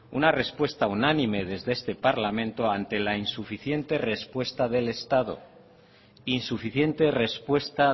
una respuesta unánime desde este parlamento ante la insuficiente respuesta